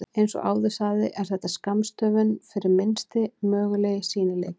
Eins og áður sagði er þetta skammstöfun fyrir Minnsti mögulegi sýnileiki.